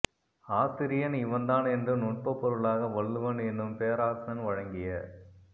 ஆசிரியன் இவன்தான் என்று நுட்பப் பொருளாக வள்ளுவன் என்னும் பேராசான் வழங்கிய